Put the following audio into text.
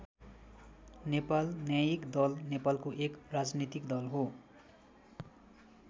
नेपाल न्यायिक दल नेपालको एक राजनीतिक दल हो।